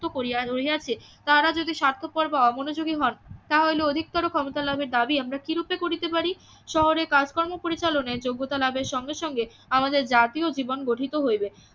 মুক্ত করিয়া লইয়াছে তাহারা যদি স্বার্থপর বা অমনোযোগী হন তাহা হইলে অধিকতর ক্ষমতা লাভের দাবি আমরা কিরূপে করিতে পারি? শহরে কাজ কর্ম পরিচালনায় যোগ্যতা লাভের সঙ্গে সঙ্গে আমাদের জাতীয় জীবন গঠিত হইবে